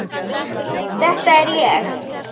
Þetta er ég.